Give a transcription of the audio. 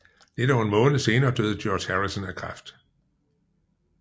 Lidt over en måned senere døde George Harrison af kræft